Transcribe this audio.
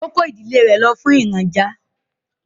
O kò ìdílé rẹ lo fún ìrajà.